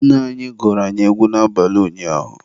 Nne anyị gụrụ anyị egwu n'abalị ụnyaahụ